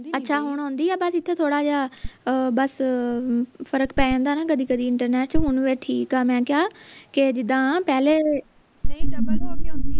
ਅੱਛਾ ਹੁਣ ਆਉਂਦੀ ਆ ਬਸ ਇਥੇ ਥੋੜਾ ਜਿਹਾ ਬਸ ਫਰਕ ਪੈ ਜਾਂਦਾ ਨਾ ਕਦੀ ਕਦੀ ਇੰਟਰਨੇਟ ਚ ਹੁਣ ਵੈਸੇ ਠੀਕ ਆ ਮੈਂ ਕਿਹਾ ਕੇ ਜਿੱਦਾਂ ਪਹਿਲੇ